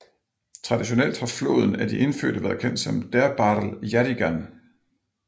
Traditionelt har floden af de indfødte været kendt som Derbarl Yerrigan